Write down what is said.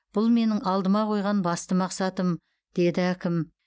бұл менің алдыма қойған басты мақсатым деді әкім